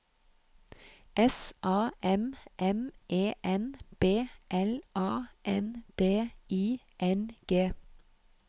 S A M M E N B L A N D I N G